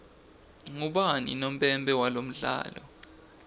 ubani unompempe walomdlalo